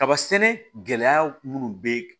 Kaba sɛnɛ gɛlɛya minnu bɛ